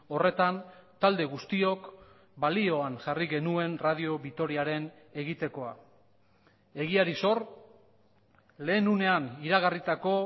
horretan talde guztiok balioan jarri genuen radio vitoriaren egitekoa egiari zor lehen unean iragarritako